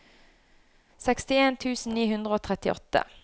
sekstien tusen ni hundre og trettiåtte